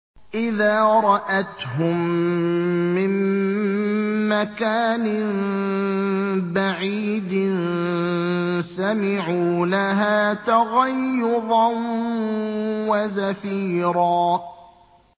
إِذَا رَأَتْهُم مِّن مَّكَانٍ بَعِيدٍ سَمِعُوا لَهَا تَغَيُّظًا وَزَفِيرًا